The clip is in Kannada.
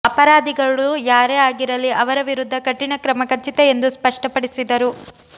ಅಪರಾಧಿಗಳು ಯಾರೇ ಆಗಿರಲಿ ಅವರ ವಿರುದ್ಧ ಕಠಿಣ ಕ್ರಮ ಖಚಿತ ಎಂದು ಸ್ಪಷ್ಟಪಡಿಸಿದರು